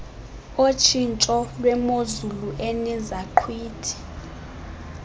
otshintsho lwemozulu enezaqhwithi